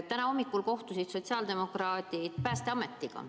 Täna hommikul kohtusid sotsiaaldemokraadid Päästeametiga.